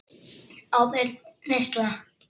Ábyrg neysla.